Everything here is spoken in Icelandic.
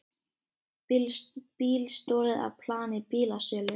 Bíl stolið af plani bílasölu